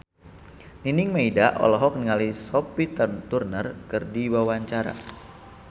Nining Meida olohok ningali Sophie Turner keur diwawancara